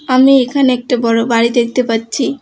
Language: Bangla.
আমি এখানে একটি বড় বাড়ি দেখতে পাচ্ছি।